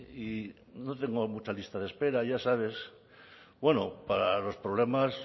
y no tengo mucha lista de espera ya sabes bueno para los problemas